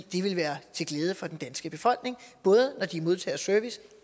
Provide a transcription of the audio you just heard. vil være til glæde for den danske befolkning både når de modtager service